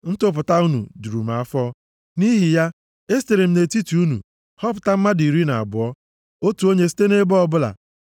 Ntụpụta unu juru m afọ, nʼihi ya, esitere m nʼetiti unu họpụta mmadụ iri na abụọ, otu onye site nʼebo ọbụla. + 1:23 \+xt Ọnụ 13:2-3\+xt*